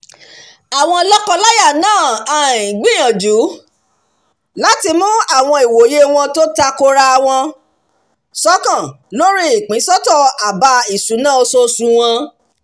àwọn lọ́kọ-láya náà um gbìyànjú láti mú àwọn ìwòye wọn tó takora wọn ṣọ̀kan lórí ìpínsọ́tọ̀ àbá ìṣúná oṣooṣù wọn